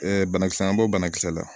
banakisɛ an b'o banakisɛ la